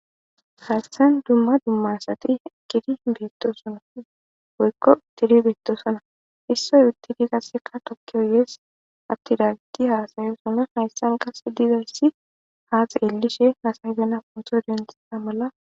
Haystan dumma dummasati gidi hibeeto sona woykko tidi beettosona issoy uttidi qasseka tokki oyees abtidaadi haasayo sona hayssan qasse dizaysi haa xeelishe hasayzana ponso denta mala.